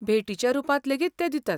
भेटीच्या रुपांत लेगीत ते दितात.